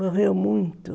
Morreu muito.